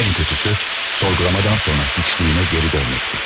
Ən pisi sorğulamadan sonra heçliyimə geri dönməkdi.